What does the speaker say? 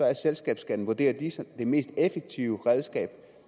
er selskabsskatten vurderer de det mest effektive redskab